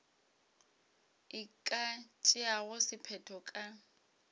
e ka tšeago sephetho ka